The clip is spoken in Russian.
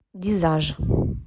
дизаж